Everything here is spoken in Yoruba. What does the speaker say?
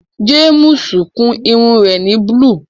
Jàmùsì kún irùn rẹ̀ ni búlú.